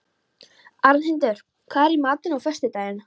Arnhildur, hvað er í matinn á föstudaginn?